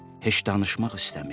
Heç danışmaq istəmir.